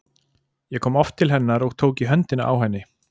Ég kom oft til hennar og tók í höndina á henni.